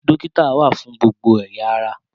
Dókítà wà fún gbogbo ẹ̀ya ará